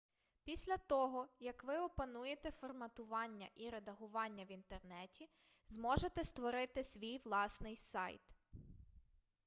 після того як ви опануєте форматування і редагування в інтернеті зможете створити свій власний сайт